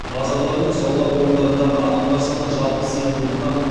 базарлар мен сауда орындарындағы адамдар саны жалпы сиымдылықтан